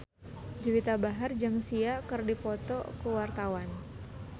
Juwita Bahar jeung Sia keur dipoto ku wartawan